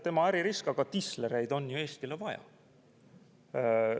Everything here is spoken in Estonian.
Tema äririsk, aga tislereid on ju Eestile vaja.